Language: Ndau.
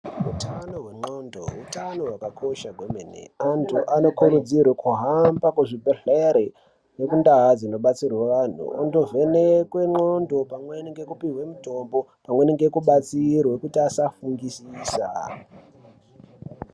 Utano hwendxondo utano hwakakosha kwemene. Antu anokurudzirwa kuhamba kuzvibhendlere nekundaa dzinobatsirwa vantu. Vondovhenekwa ndxondo pamweni nekupihwa mutombo. Pamweni nekubatsirwa kuti asafungisisa.